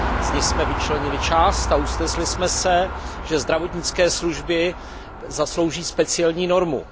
Z ní jsme vyčlenili část a usnesli jsme se, že zdravotnické služby zaslouží speciální normu.